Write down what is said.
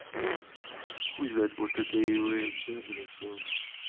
хуй знает может это и всд блять то